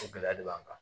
O gɛlɛya de b'an kan